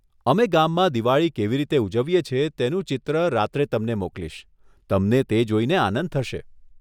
અમે ગામમાં દિવાળી કેવી રીતે ઉજવીએ છીએ તેનું ચિત્ર રાત્રે તમને મોકલીશ, તમને તે જોઈને આનંદ થશે.